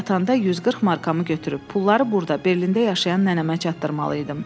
Mən yatanda 140 markamı götürüb, pulları burda, Berlində yaşayan nənəmə çatdırmalı idim.